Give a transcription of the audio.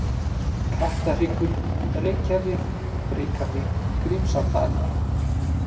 Kattahryggur, Reykjarif, Brikarvík, Grímsárdalur